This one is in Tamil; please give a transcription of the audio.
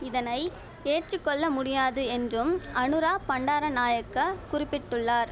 இதனை ஏற்று கொள்ள முடியாது என்றும் அநுரா பண்டார நாயக்க குறிப்பிட்டுள்ளார்